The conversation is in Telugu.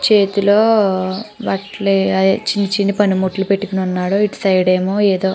చేతిలోని బట్టలు అయ్యే చిన్న చిన్న పనిముట్లు పెట్టుకొని ఉన్నాడు. ఇటు సైడ్ ఏమో --